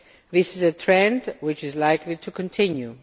This is a trend which is likely to continue.